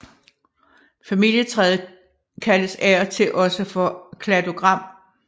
Familietræet kaldes af og til også for kladogram